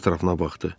Ətrafına baxdı.